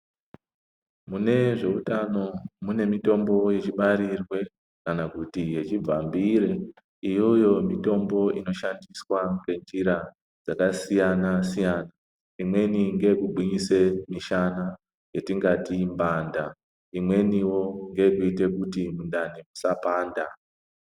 Mune zveutano mune mitombo techibarirwe kana kuti yechibvambire. Iyoyo mitombo inoshandiswa ngenjira dzakasiyana siyana. Imweni ngeyekugwinyisa mishana yatingati mbanda imweniwo ngeyekuite kuti mundani musapanda.